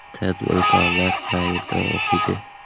Tadbirkorlar qayerda o‘qiydi?.